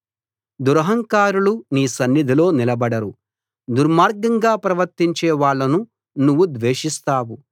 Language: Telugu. దురహంకారులు నీ సన్నిధిలో నిలబడరు దుర్మార్గంగా ప్రవర్తించే వాళ్లను నువ్వు ద్వేషిస్తావు